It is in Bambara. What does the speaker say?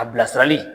A bilasirali